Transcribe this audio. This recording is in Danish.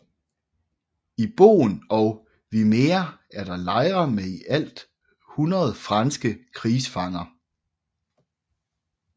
I Boen og Wymeer var der lejre med i alt 100 franske krigsfanger